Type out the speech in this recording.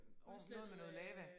Udslættet med noget lava